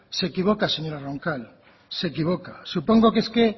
se equivoca señora roncal se equivoca supongo que es que